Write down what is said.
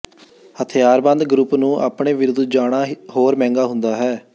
ਹਥਿਆਰਬੰਦ ਗਰੁੱਪ ਨੂੰ ਆਪਣੇ ਵਿਰੁੱਧ ਜਾਣਾ ਹੋਰ ਮਹਿੰਗਾ ਹੁੰਦਾ ਹੈ